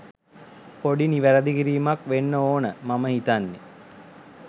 පොඩි නිවරදි කිරීමක් වෙන්න ඕන මම හිතන්නේ.